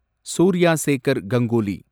Surya Sekhar Ganguly